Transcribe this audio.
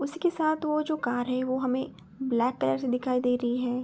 उसी के साथ वो जो कार है वो हमें ब्लैक कलर से दिखाई दे रही है।